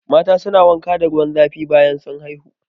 Mata su na wanka da ruwan zafi bayan sun haihu